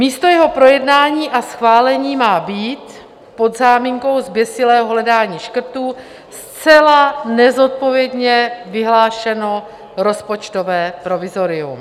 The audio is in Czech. Místo jeho projednání a schválení má být pod záminkou zběsilého hledání škrtů zcela nezodpovědně vyhlášeno rozpočtové provizorium.